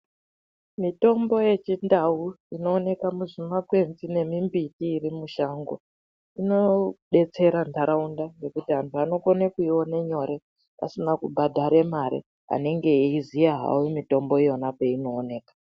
Mitombo yechindau inooneka muzvimakwenzi nemimbiti irimushango, inodetsera ntaraunda ngekuti anhu anokone kuiona nyore, asina kubhadhare mare anenge eiziya hawo mitombo iyona peinooneka.